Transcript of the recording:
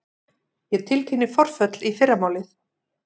Ég tilkynni forföll í fyrramálið.